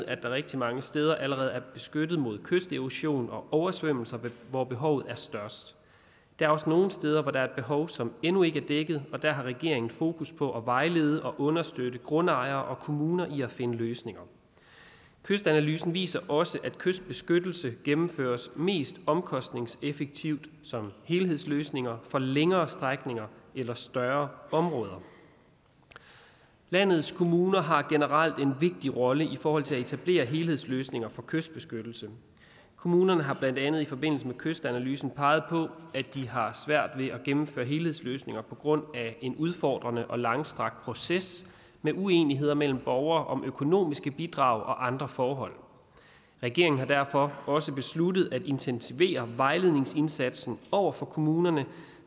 at der rigtig mange steder allerede er beskyttet mod kysterosion og oversvømmelser hvor behovet er størst der er også nogle steder hvor der er et behov som endnu ikke er dækket og der har regeringen fokus på at vejlede og understøtte grundejere og kommuner i at finde løsninger kystanalysen viser også at kystbeskyttelse gennemføres mest omkostningseffektivt som helhedsløsninger for længere strækninger eller større områder landets kommuner har generelt en vigtig rolle i forhold til at etablere helhedsløsninger for kystbeskyttelse kommunerne har blandt andet i forbindelse med kystanalysen peget på at de har svært ved at gennemføre helhedsløsninger på grund af en udfordrende og langstrakt proces med uenigheder mellem borgere om økonomiske bidrag og andre forhold regeringen har derfor også besluttet at intensivere vejledningsindsatsen over for kommunerne